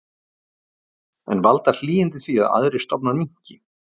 En valda hlýindin því að aðrir stofnar minnki?